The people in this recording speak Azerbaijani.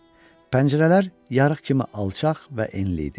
Pəncərələr yarıq kimi alçaq və enli idi.